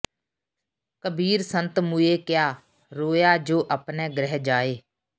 ਕਬੀਰ ਸੰਤ ਮੂਏ ਕਿਆ ਰੋਇਐ ਜੋ ਅਪਨੇ ਗ੍ਰਹਿ ਜਾਇ